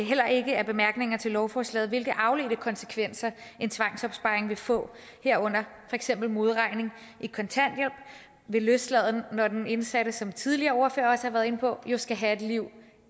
bemærkningerne til lovforslaget hvilke afledte konsekvenser en tvangsopsparing vil få herunder for eksempel modregning i kontanthjælp ved løsladelse når den indsatte som tidligere ordførere også har været inde på jo skal have et liv